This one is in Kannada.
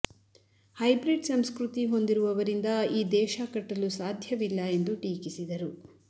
ಹೈಬ್ರಿಡ್ ಸಂಸ್ಕೃತಿ ಹೊಂದಿರುವವರಿಂದ ಈ ದೇಶ ಕಟ್ಟಲು ಸಾಧ್ಯವಿಲ್ಲ ಎಂದು ಟೀಕಿಸಿದರು